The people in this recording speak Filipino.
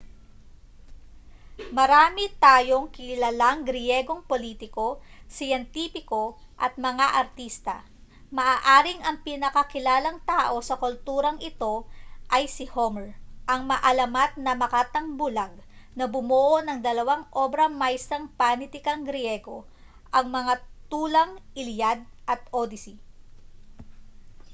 marami tayong kilalang griyegong politiko siyentipiko at mga artista maaaring ang pinakakilalang tao sa kulturang ito ay si homer ang maalamat na makatang bulag na bumuo ng dalawang obra maestrang panitikang griyego ang mga tulang iliad at odyssey